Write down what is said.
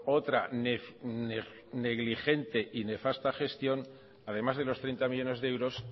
otra negligente y nefasta gestión además de los treinta millónes de euros